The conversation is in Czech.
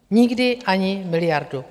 Nikdy ani miliardu.